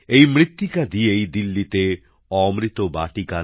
এই মৃত্তিকা দিয়েই দিল্লিতে অমৃতবাটিকা